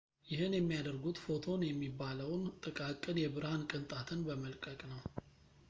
ይህን የሚያደርጉት ፎቶን የሚባለውን ጥቃቅን የብርሃን ቅንጣትን በመለቀቅ ነው